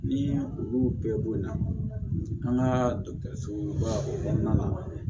Ni olu bɛɛ boyanna an ka dɔkɔtɔrɔsoba o kɔnɔna na